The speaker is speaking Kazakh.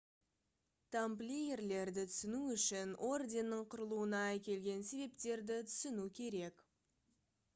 тамплиерлерді түсіну үшін орденнің құрылуына әкелген себептерді түсіну керек